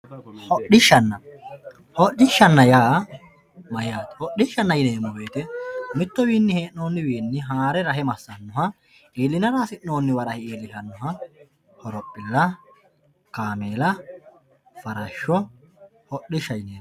hodhishshaanna hodhishshanna yaa mayyaate hodhishshanna yineemmo woyiite mittuwiinni hee'noonniwiinni haare rahe massaannoha iillinara hasi'noonniwa rahe iillishannoha horophilla kaameela farashsho hodhishshaho yineemmo